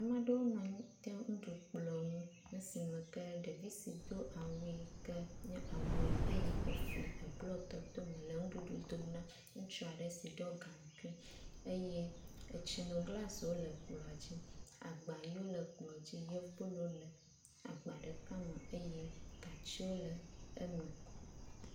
Ama ɖewo nɔ anyi ɖe nuɖukplɔ̃ ŋu esime ke ɖevi si do awu yi ke nye awu ʋi eye efli eblɔk tɔ̃tɔ̃ le ŋuɖuɖu dom na ŋutsua ɖe si ɖɔ gaŋkui eye etsino glasiwo le kplɔ̃a dzi, agba yiwo le kplɔ̃a dzi yɔ kple wole agba ɖeka me eye gatsiwo le eme.